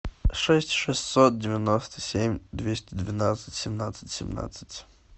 шесть шестьсот девяносто семь двести двенадцать семнадцать семнадцать